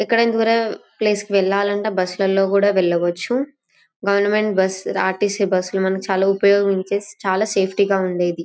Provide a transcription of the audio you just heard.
ఎక్కడైనా దూరం ప్లేస్ కి వెళ్ళాలంటే బస్సు లలో కూడా వెళ్ళవచ్చు. Government bus R_ T _C bus లు మనకు చాలా ఉపయోగం చేసి చాలా సేఫ్టీ గా ఉండేది.